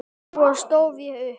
Svo stóð ég upp.